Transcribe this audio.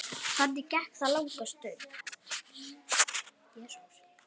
Þannig gekk það langa stund.